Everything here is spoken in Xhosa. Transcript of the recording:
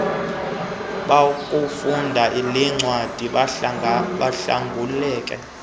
bakufunda lencwadi bahlanguleke